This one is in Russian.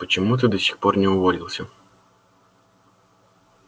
почему ты до сих пор не уволился